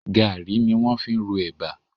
Gàárì ni wọ́n fi ń ro ẹ̀bà